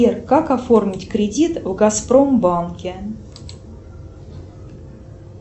сбер как оформить кредит в газпромбанке